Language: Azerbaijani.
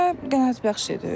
Belə qənaətbəxş idi.